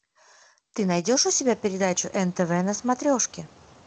ты найдешь у себя передачу нтв на смотрешке